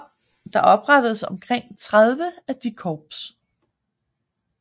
Der oprettedes omkring 30 af de korps